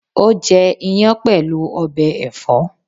O jẹ iyán pẹlu ọbẹ ẹfọ.